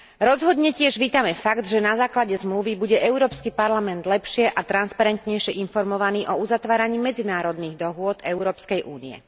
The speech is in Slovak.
Rozhodne tiež vítame fakt, že na základe zmluvy bude Európsky parlament lepšie a transparentnejšie informovaný o uzatváraní medzinárodných dohôd Európskej únie.